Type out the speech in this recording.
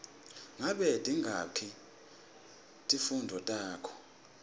ngabe tingaki timfundvo takho